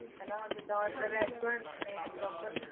ਹਨਾਂ ਉਹ ਜਿਦਾਂ ਅੰਦਰ restaurant ਹੁੰਦੇ ਨੇ proper